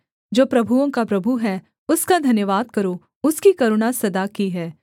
जो प्रभुओं का प्रभु है उसका धन्यवाद करो उसकी करुणा सदा की है